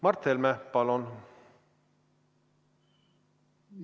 Mart Helme, palun!